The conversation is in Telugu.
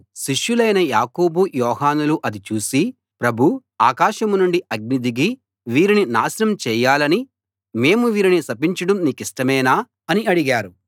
శిష్యులైన యాకోబు యోహానులు అది చూసి ప్రభూ ఆకాశం నుండి అగ్ని దిగి వీరిని నాశనం చేయాలని మేము వీరిని శపించడం నీకిష్టమేనా అని అడిగారు